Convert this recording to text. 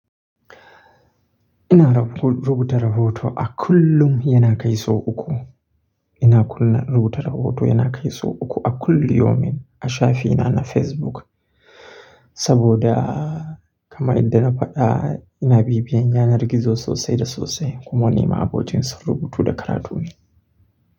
Ina rubuta rahoto a kullum yana kai so uku. Ina kullum rubuta rahoto yana kai so uku a kulli yomin a shafi na na Facebook. Saboda kama idda na faɗa ina bibiyan yanar gizo sosai da sosai kuma nima abokin sun rubutu da karatu ne.